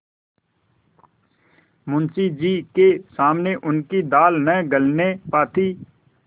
मुंशी जी के सामने उनकी दाल न गलने पाती